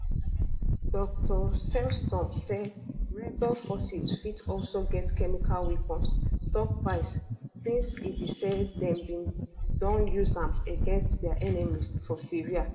dr sellstrom say rebel forces fit also get chemical weapons stockpiles since e be say dem bin don use am against dia enemies for syria